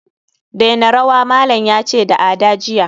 daina rawa, malam yace da Ada jiya